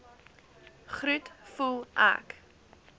groet voel ek